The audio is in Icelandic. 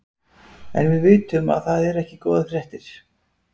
En við vitum að það eru ekki góðar fréttir?